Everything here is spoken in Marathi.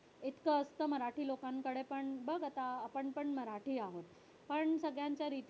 इतकं असतं मराठी लोकांकडे पण बघ आता आपण पण मराठी आहोत. पण सगळ्यांचं रिती